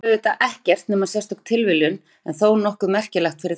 Þetta er auðvitað ekkert nema sérstök tilviljun en þó nokkuð merkileg fyrir það.